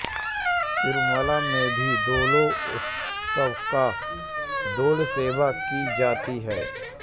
तिरुमला में भी दोलोत्सव या दोलसेवा की जाती है